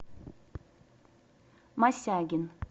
мосягин